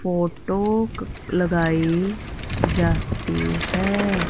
Photo लगाई जाती है।